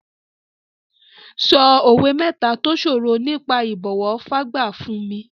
Sọ òwe mẹ́ta tó sọ̀rọ̀ nípa ìbọ̀wọ̀ fágbà fún mi.